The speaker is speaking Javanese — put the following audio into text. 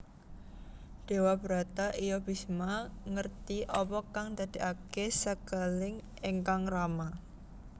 Dewabrata iya Bisma ngerti apa kang ndadèkaké sekeling ingkang rama